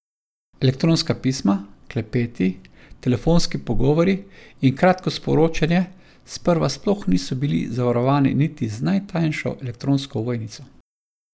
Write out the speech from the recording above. Elektronska pisma, klepeti, telefonski pogovori in kratko sporočanje sprva sploh niso bili zavarovani niti z najtanjšo elektronsko ovojnico.